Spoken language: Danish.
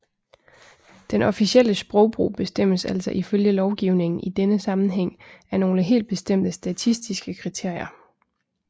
Den officielle sprogbrug bestemmes altså ifølge lovgivningen i denne sammenhæng af nogle helt bestemte statistiske kriterier